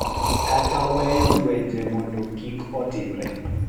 Kata weyo lwenje mondo kik otimore,